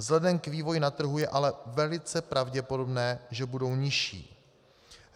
Vzhledem k vývoji na trhu je ale velice pravděpodobné, že budou nižší.